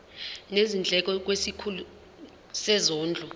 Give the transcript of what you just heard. nezindleko kwisikhulu sezondlo